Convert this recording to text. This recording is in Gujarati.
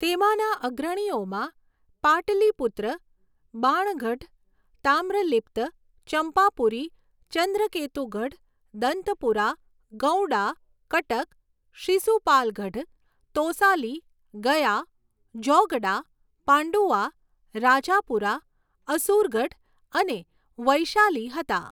તેમાંના અગ્રણીઓમાં પાટલીપુત્ર, બાણગઢ, તામ્રલિપ્ત, ચંપાપુરી, ચંદ્રકેતુગઢ, દંતપુરા, ગૌડા, કટક, શિસુપાલગઢ, તોસાલી, ગયા, જૌગડા, પાંડુઆ, રાજાપુરા, અસુરગઢ અને વૈશાલી હતા.